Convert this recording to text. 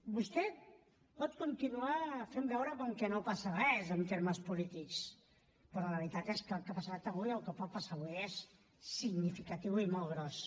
vostè pot continuar fent veure com que no passa res en termes polítics però la veritat és que el que ha passat avui el que pot passar avui és significatiu i molt gros